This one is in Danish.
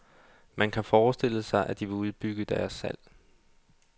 Man kan forestille sig, at de vil udbygge deres salg.